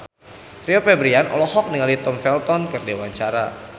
Rio Febrian olohok ningali Tom Felton keur diwawancara